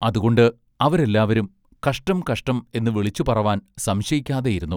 അതുകൊണ്ട് അവരെല്ലാവരും കഷ്ടം കഷ്ടം എന്ന് വിളിച്ചു പറവാൻ സംശയിക്കാതെയിരുന്നു.